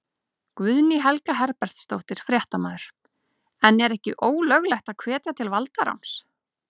Guðný Helga Herbertsdóttir, fréttamaður: En er ekki ólöglegt að hvetja til valdaráns?